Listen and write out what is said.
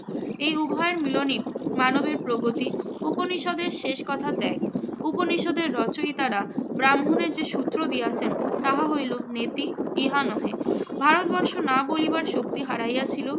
এই উভয়ের মিলনই মানবের প্রগতি। উপনিষদের শেষ কথা ত্যাগ। উপনিষদের রচয়িতারা ব্রাহ্মণের যে সূত্র দিয়েছেন, তাহা হইল নেতি, ইহা নহে। ভারতবর্ষ না বলিবার শক্তি হারাইয়াছিল,